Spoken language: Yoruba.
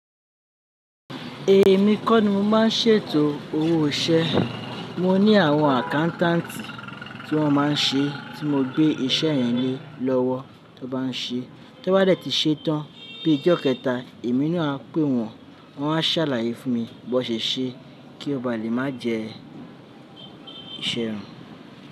Èmi kọ́ ni mo máa ń ṣètò owó iṣẹ́. Mo ní àwọn accountant tí wọ́n máa ń ṣe tí mo gbé iṣẹ́ yẹn lé lọ́wọ́ tí wọ́n bá ń ṣe. Tí wọ́n bá dẹ̀ ti ṣetán bí i ọjọ́ kẹta, èmi na a pé wọ́n, wọ́n a ṣàlàyé fún mi bó won ṣèṣe kí ó ba lè má jẹ iṣẹ́ ràn.